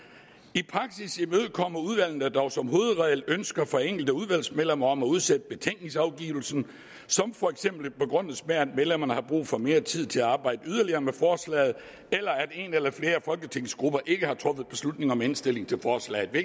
i praksis imødekommer udvalgene dog som hovedregel ønsker fra enkelte udvalgsmedlemmer om at udsætte betænkningsafgivelsen som for eksempel begrundes med at medlemmerne har brug for mere tid til at arbejde yderligere med forslaget eller at en eller flere folketingsgrupper ikke har truffet beslutning om indstillingen til forslaget det